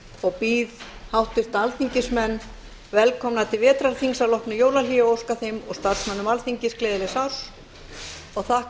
og býð háttvirta alþingismenn velkomna til vetrarþings að loknu jólahléi og óska þeim og starfsmönnum gleðilegs árs og þakka